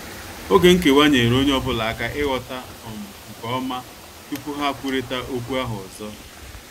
Oge nkewa nyeere ọnye ọbụla aka ighọta um nke ọma tupu ha kwụrita okwu ahụ ọzọ.